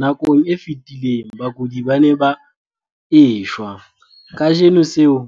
Nakong e fetileng, bakudi bana ba ne ba e shwa. Kajeno seo